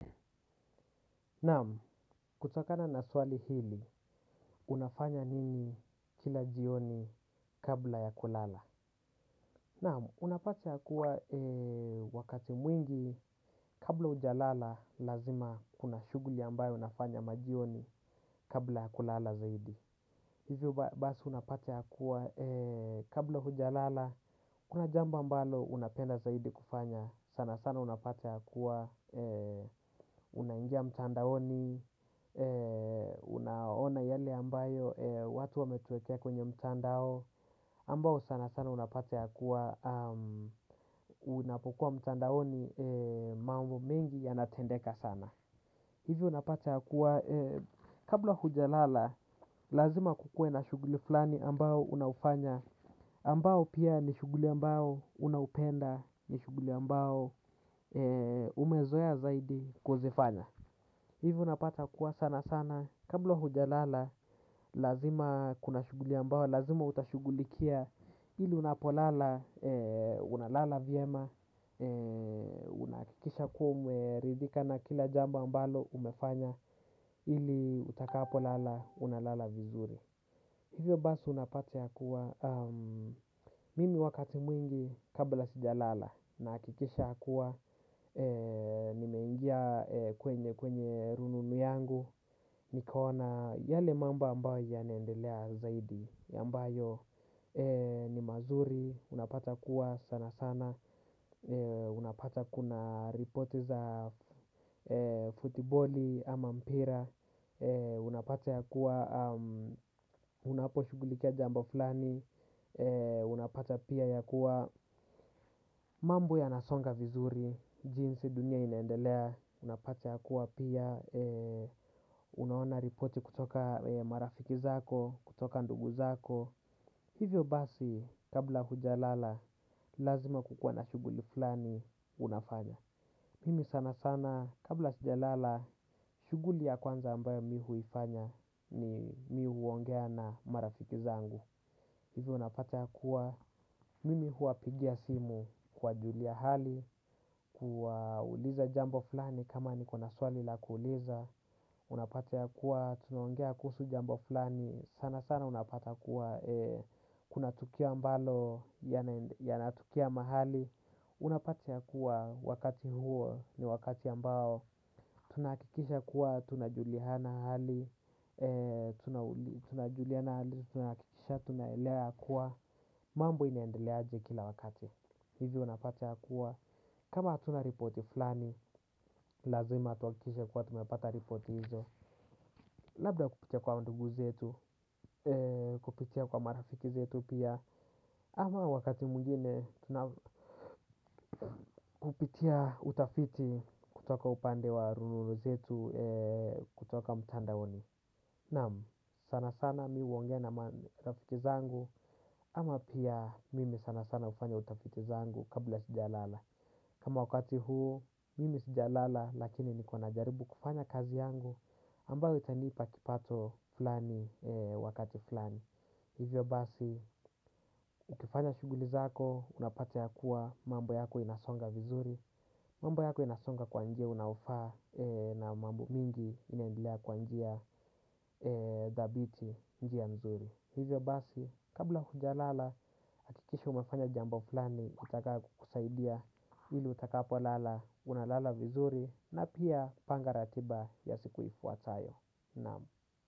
Naam, kutokana na swali hili, unafanya nini kila jioni kabla ya kulala? Naam, unapata ya kuwa wakati mwingi kabla hujalala lazima kuna shughuli ambayo unafanya majioni kabla ya kulala zaidi. Hivyo basi unapata ya kuwa kabla hujalala, kuna jambo ambalo unapenda zaidi kufanya, sana sana unapata ya kuwa, unaingia mtandaoni, unaona yale ambayo watu wametuwekea kwenye mtandao, ambao sana sana unapata ya kuwa, unapokuwa mtandaoni mambo mengi yanatendeka sana. Hivyo unapata kuwa kabla huja lala lazima kukuwe na shughuli fulani ambao unaufanya ambao pia ni shughuli ambao unaupenda ni shughuli ambao umezoea zaidi kuzifanya. Hivyo unapata kuwa sana sana, kabla huja lala, lazima kuna shughuli ambao, lazima utashugulikia ili unapolala, unalala vyema, unahakikisha kuwa umeridhika na kila jambo ambalo umefanya ili utakapo lala, unalala vizuri. Hivyo basi unapata ya kuwa, mimi wakati mwingi kabla sijalala na nahakikisha ya kuwa, nimengia kwenye kwenye rununu yangu, nikaona yale mambo ambayo yanaendelea zaidi, ambayo ni mazuri, unapata ya kuwa sana sana, unapata kuna ripoti za futiboli ama mpira, unapata ya kuwa unapo shughulikia jambo fulani unapata pia ya kuwa mambo yanasonga vizuri. Jinsi dunia inaendelea. Unapata ya kuwa pia unaona reporti kutoka marafiki zako kutoka ndugu zako. Hivyo basi kabla hujalala lazima kukua na shughuli fulani. Unafanya. Mimi sana sana kabla sijalala shughuli ya kwanza ambayo mimi hufanya. Ni mimi huongea na marafiki zangu. Hivyo unapata kuwa mimi huwapigia simu kuwajulia hali kuwa uliza jambo fulani kama niko na swali la kuuliza. Unapata ya kuwa tunaongea kuhusu jambo fulani. Sana sana unapata kuwa kuna tukio ambalo ya natokea mahali. Unapata ya kuwa wakati huo ni wakati ambao tunahakikisha kuwa tunajuliana hali. Tunajuliana. Tunahakikisha. Tunaelewa ya kuwa mambo inaendeleaje kila wakati. Hivi unapata ya kuwa kama tuna ripoti fulani. Lazima tuhakikishe kuwa tumepata ripoti hizo. Labda kupitia kwa ndugu zetu. Kupitia kwa marafiki zetu pia. Ama wakati mwingine. Kupitia utafiti kutoka upande wa rununu zetu. Kutoka mtandaoni. Naam. Sana sana mimi huongea na marafiki zangu, ama pia mimi sana sana hufanya utafiti zangu kabla sijalala. Kama wakati huu, mimi sijalala lakini niko najaribu kufanya kazi yangu ambayo itanipa kipato fulani wakati fulani. Hivyo basi, ukifanya shughuli zako, unapata ya kuwa mambo yako inasonga vizuri, mambo yako inasonga kwa njia unaofa na mambo mingi inaendelea kwa njia dhabiti njia mzuri. Hivyo basi, kabla hujalala, hakikishi umefanya jambo fulani utakayo kusaidia, ili utakapo lala, unalala vizuri, na pia panga ratiba ya siku ifuatayo. Naam.